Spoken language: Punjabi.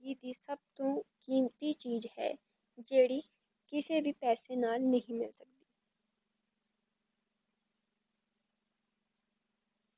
ਏ ਚੀਜ ਸਭ ਤੋਂ ਕੀਮਤੀ ਚੀਜ ਹੈ, ਜੇੜੀ ਕਿਸੇ ਵੀ ਪੈਸੇ ਨਾਲ ਨਹੀਂ ਮਿਲਦੀ